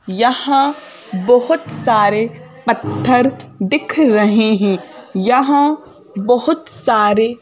यहाँ बहुत सारे पत्थर दिख रहे हैं यहाँ बहुत सारे--